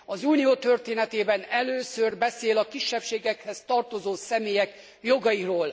Az Unió történetében először beszél a kisebbségekhez tartozó személyek jogairól.